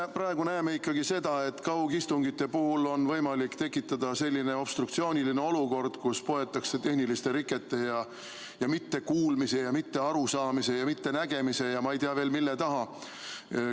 Me praegu näeme ikkagi seda, et kaugistungite puhul on võimalik tekitada selline obstruktsiooniline olukord, kus poetakse tehniliste rikete ja mittekuulmise ja mittearusaamise ja mittenägemise ja ma ei tea veel, mille taha.